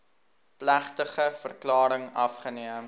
plegtige verklaring afgeneem